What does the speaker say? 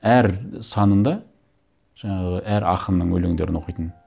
әр санында жаңағы әр ақынның өлеңдерін оқитын